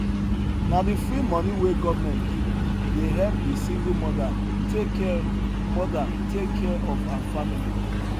na de free money wey government give dey help de single mother take care mother take care of her family